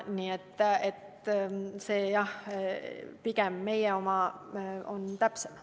Nii et jah, pigem meie säte on täpsem.